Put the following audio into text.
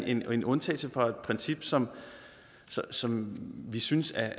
en undtagelse fra et princip som som vi synes er